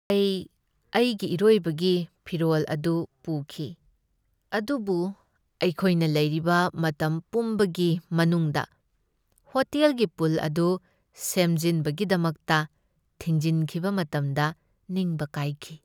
ꯑꯩ ꯑꯩꯒꯤ ꯏꯔꯣꯏꯕꯒꯤ ꯐꯤꯔꯣꯜ ꯑꯗꯨ ꯄꯨꯈꯤ ꯑꯗꯨꯕꯨ ꯑꯩꯈꯣꯏꯅ ꯂꯩꯔꯤꯕ ꯃꯇꯝ ꯄꯨꯝꯕꯒꯤ ꯃꯅꯨꯡꯗ ꯍꯣꯇꯦꯜꯒꯤ ꯄꯨꯜ ꯑꯗꯨ ꯁꯦꯝꯖꯤꯟꯕꯒꯤꯗꯃꯛꯇ ꯊꯤꯡꯖꯤꯟꯈꯤꯕ ꯃꯇꯝꯗ ꯅꯤꯡꯕ ꯀꯥꯏꯈꯤ꯫